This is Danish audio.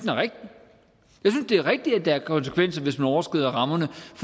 det er rigtigt at der konsekvenser hvis man overskrider rammerne for